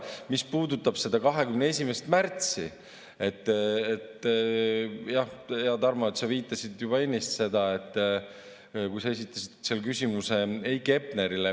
Mis puudutab 21. märtsi, siis jah, hea Tarmo, sa viitasid juba ennist sellele, kui sa esitasid küsimuse Heiki Hepnerile.